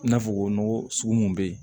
I n'a fɔ nɔgɔ sugu mun be yen